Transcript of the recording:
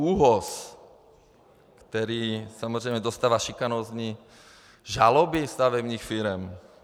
ÚOHS, který samozřejmě dostává šikanózní žaloby stavebních firem.